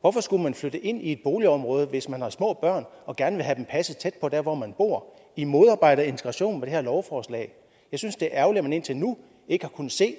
hvorfor skulle man så flytte ind i et boligområde hvis man har små børn og gerne vil have dem passet tæt på der hvor man bor i modarbejder integration med det her lovforslag jeg synes det er ærgerligt at man indtil nu ikke har kunnet se